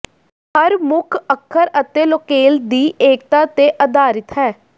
ਹਰ ਮੁੱਖ ਅੱਖਰ ਅਤੇ ਲੋਕੇਲ ਦੀ ਏਕਤਾ ਤੇ ਅਧਾਰਿਤ ਹੈ